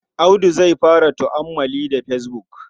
Audu zai fara tu'ammali da fesbuk.